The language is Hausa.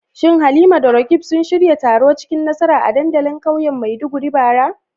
Shin Halima da Roqeeb sun shirya taro cikin nasara a dandalin kauyen Maiduguri bara?